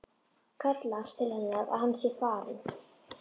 Kallar til hennar að hann sé farinn.